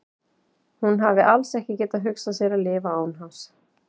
Hún hafi alls ekki getað hugsað sér að lifa án hans.